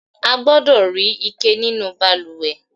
A gbọdọ̀ rí ike nínú balùwẹ̀.